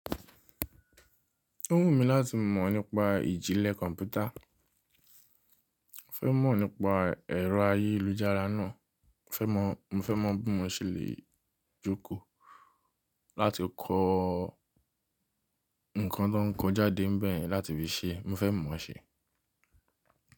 Ó wù mí láti mọ̀ nípa ìjìnlẹ̀ kọ̀ǹpútà. Mo fẹ́ mọ̀ nípa ẹ̀rọ ayélujára náà. Mo fẹ́ mọ̀ bí mo ṣe lè jókòó láti kọ́ nǹkan tó ń kọ jádé bẹ̀yẹ̀n láti fi ṣe. Mo fẹ́ mọ̀ ṣe.